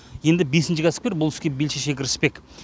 енді бесінші кәсіпкер бұл іске бел шеше кіріспек